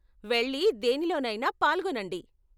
వెళ్లి దేనిలోనైనా పాల్గొనండి.